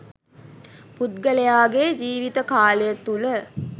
පුද්ගලයාගේ ජීවිත කාලය තුළ